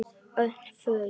Örn fraus.